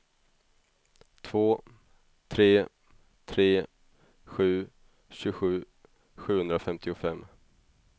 två tre tre sju tjugosju sjuhundrafemtiofem